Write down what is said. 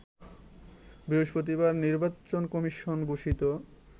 বৃহস্পতিবার নির্বাচন কমিশন ঘোষিত